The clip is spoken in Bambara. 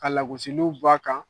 Ka lagosiliw bɔ a kan